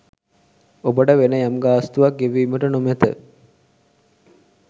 ඔබට වෙන යම්ගාස්‌තුවක්‌ ගෙවීමට නොමැත